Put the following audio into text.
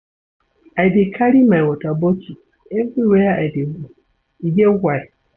I dey carry my water bottle everywhere I dey go, e get why.